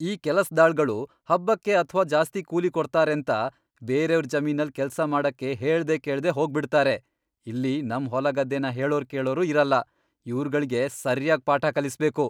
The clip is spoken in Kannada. ಈ ಕೆಲ್ಸದಾಳ್ಗಳು ಹಬ್ಬಕ್ಕೆ ಅಥ್ವಾ ಜಾಸ್ತಿ ಕೂಲಿ ಕೊಡ್ತಾರೇಂತ ಬೇರೇವ್ರ್ ಜಮೀನಲ್ ಕೆಲ್ಸ ಮಾಡಕ್ಕೆ ಹೇಳ್ದೆ ಕೇಳ್ದೆ ಹೋಗ್ಬಿಡ್ತಾರೆ. ಇಲ್ಲಿ ನಮ್ ಹೊಲಗದ್ದೆನ ಹೇಳೋರ್ ಕೇಳೋರ್ ಇರಲ್ಲ. ಇವ್ರ್ಗಳ್ಗೆ ಸರ್ಯಾಗ್ ಪಾಠ ಕಲಿಸ್ಬೇಕು.